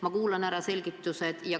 Ma kuulan ära selgitused.